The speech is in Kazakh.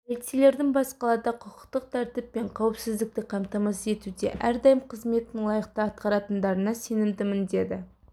полицейлердің бас қалада құқықтық тәртіп пен қауіпсіздікті қамтамасыз етуде әрдайым қызметін лайықты атқаратындарына сенімдімін деді